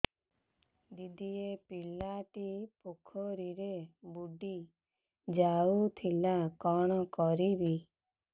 ଦିଦି ଏ ପିଲାଟି ପୋଖରୀରେ ବୁଡ଼ି ଯାଉଥିଲା କଣ କରିବି